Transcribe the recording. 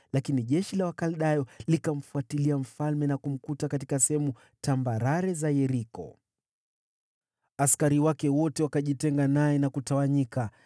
Lakini jeshi la Wakaldayo likamfuatia mfalme na kumpata katika sehemu tambarare za Yeriko. Askari wake wote wakatengwa naye na kutawanyika,